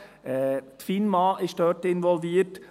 Die Finanzmarktaufsicht (Finma) ist dort involviert.